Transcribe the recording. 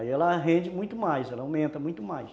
Aí ela rende muito mais, ela aumenta muito mais.